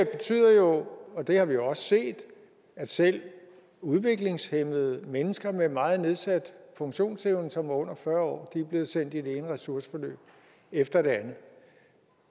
betyder jo og det har vi også set at selv udviklingshæmmede mennesker med en meget nedsat funktionsevne som er under fyrre er blevet sendt i det ene ressourceforløb efter det andet